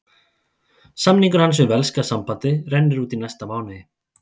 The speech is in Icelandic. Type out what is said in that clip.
Samningur hans við velska sambandið rennur út í næsta mánuði.